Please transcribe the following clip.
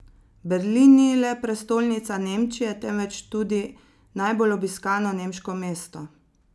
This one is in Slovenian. Berlin ni le prestolnica Nemčije, temveč tudi najbolj obiskano nemško mesto.